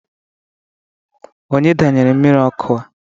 Onye danyere mmiri ọkụ a?